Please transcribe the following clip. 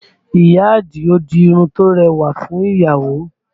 Ìyá Àdìó di irun tó rẹwà fún ìyàwó